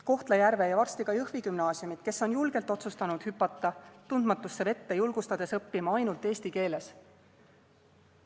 Kohtla-Järve ja varsti ka Jõhvi gümnaasium, kes on julgelt otsustanud hüpata tundmatusse vette, julgustades õppima ainult eesti keeles.